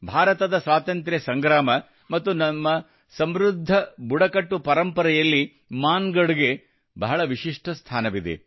ಭಾರತದ ಸ್ವತಂತ್ರ ಸಂಗ್ರಾಮ ಮತ್ತು ನಮ್ಮ ಸಮೃದ್ಧ ಬುಡಕಟ್ಟು ಪರಂಪರೆಯಲ್ಲಿ ಮಾನಗಢ್ ಗೆ ಬಹಳ ವಿಶಿಷ್ಟ ಸ್ಥಾನವಿದೆ